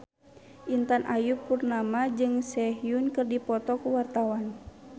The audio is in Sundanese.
Intan Ayu Purnama jeung Sehun keur dipoto ku wartawan